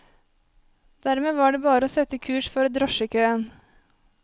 Dermed var det bare å sette kurs for drosjekøen.